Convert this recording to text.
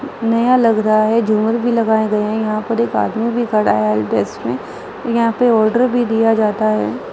नया लग रहा है। झूमर भी लगाया गए हैं। यहाँ पर एक आदमी भी खड़ा है। डेस्क में यहाँ पे आर्डर भी दिया जाता है।